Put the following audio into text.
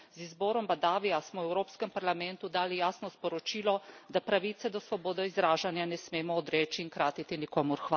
Z izborom Badavija smo v Evropskem parlamentu dali jasno sporočilo, da pravice do svobode izražanja ne smemo odreči in kratiti nikomur.